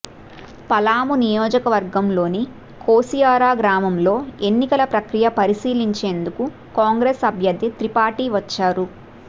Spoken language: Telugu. పలామూ నియోజకవర్గంలోని కోసియారా గ్రామంలో ఎన్నికల ప్రక్రియ పరిశీలించేందుకు కాంగ్రెస్ అభ్యర్థి త్రిపాఠీ వచ్చారు